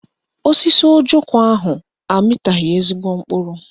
Osisi ojoko ahụ amịtaghị ezigbo mkpụrụ